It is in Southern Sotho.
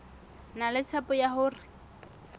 na le tshepo ya hore